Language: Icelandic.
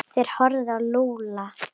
Þeir horfðu á Lúlla.